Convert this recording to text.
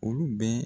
Olu bɛɛ